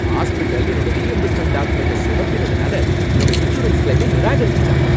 Hospital என்னோட reimbursement டாக்குமென்ட சொதப்பினதுனால, என்னோட இன்சூரன்ஸ் கிளைமை நிராகரிசுட்டாங்க .